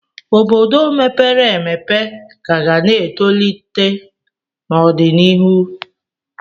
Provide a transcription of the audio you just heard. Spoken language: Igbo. Obodo mepere emepe ka ga na-etolite n'ọdịnihu.